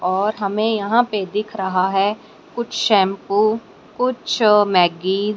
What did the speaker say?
और हमें यहां पे दिख रहा है कुछ शैंपू कुछ मैगी --